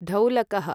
ढौलकः